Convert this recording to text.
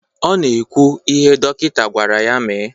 Ọ na-ekwu ihe dọkịta gwara ya mee.